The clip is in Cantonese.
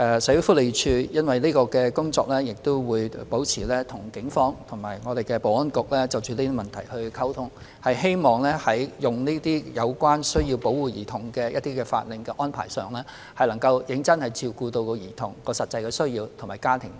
社署會就相關工作與警方及保安局保持溝通，希望在使用這些需要保護兒童的法令安排上，能真正照顧兒童的實際需要及其家庭意願。